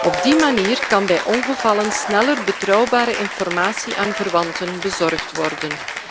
Op die manier kan bij ongevallen sneller betrouwbare informatie aan verwanten bezorgd worden.